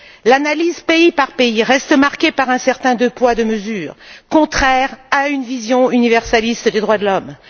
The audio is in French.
L'analyse pays par pays reste marquée par un certain deux poids, deux mesures contraire à une vision universaliste des droits de l'homme.